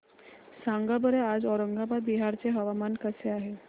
सांगा बरं आज औरंगाबाद बिहार चे हवामान कसे आहे